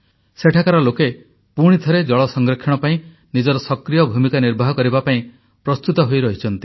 ସେଠାକାର ଲୋକେ ପୁଣିଥରେ ଜଳ ସଂରକ୍ଷଣ ପାଇଁ ନିଜର ସକ୍ରିୟ ଭୂମିକା ନିର୍ବାହ କରିବା ପାଇଁ ପ୍ରସ୍ତୁତ ହୋଇ ରହିଛନ୍ତି